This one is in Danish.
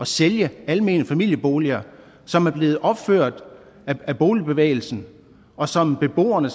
sælge almene familieboliger som er blevet opført af boligbevægelsen og som beboerne